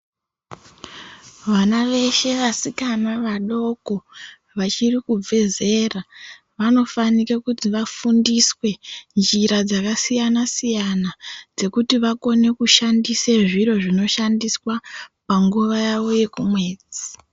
Vana veshe vasikana vadoko vachiri kubve zera , vanofanire kuti vafundiswe njira dzakasiyana siyana dzekuti vakone kushandise zviro zvinoshandiswa panguwa yawo yekumwedzi